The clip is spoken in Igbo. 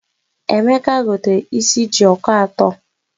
Emeka gotere is jioko atọ.